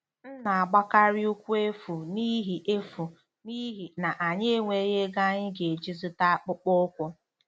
M na-agbakarị ụkwụ efu n'ihi efu n'ihi na anyị enweghị ego anyị ga-eji zụta akpụkpọ ụkwụ.